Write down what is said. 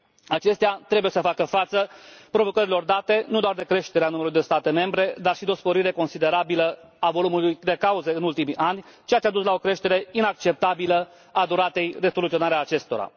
Acestea trebuie să facă față provocărilor date nu doar de creștere a numărului de state membre, dar și de o sporire considerabilă a volumului cauzelor în ultimii ani, ceea ce a dus la o creștere inacceptabilă a duratei de soluționare a acestora.